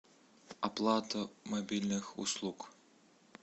оплата мобильных услуг